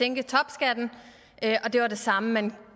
sænke topskatten og at det var det samme man